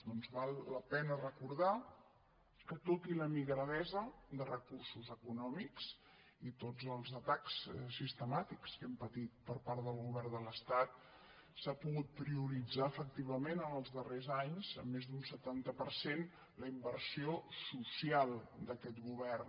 doncs val la pena recordar que tot i la migradesa de recursos econòmics i tots els atacs sistemàtics que hem patit per part del govern de l’estat s’ha pogut prioritzar efectivament en els darrers anys en més d’un setanta per cent la inversió social d’aquest govern